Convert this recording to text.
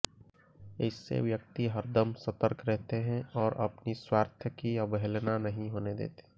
ऐसे व्यक्ति हरदम सतर्क रहते हैं और अपने स्वार्थ की अवहेलना नहीं होने देते